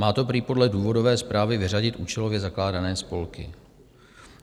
Má to prý podle důvodové zprávy vyřadit účelově zakládané spolky.